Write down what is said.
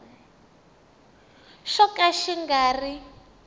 xo ka xi nga ri